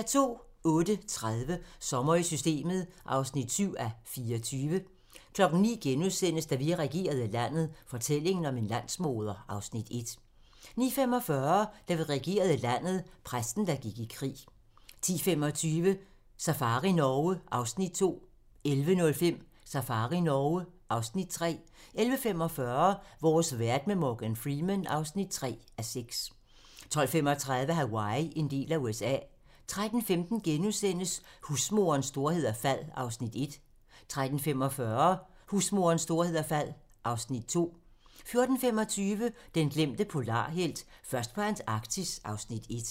08:30: Sommer i Systemet (7:24) 09:00: Da vi regerede landet - fortællingen om en landsmoder (Afs. 1)* 09:45: Da vi regerede landet - Præsten, der gik i krig 10:25: Safari Norge (Afs. 2) 11:05: Safari Norge (Afs. 3) 11:45: Vores verden med Morgan Freeman (3:6) 12:35: Hawaii - en del af USA 13:15: Husmorens storhed og fald (Afs. 1)* 13:45: Husmorens storhed og fald (Afs. 2) 14:25: Den glemte polarhelt: Først på Antarktis (Afs. 1)